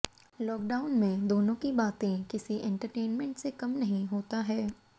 lockdown में दोनों की बातें किसी एंटरटेनमेंट से कम नहीं होता है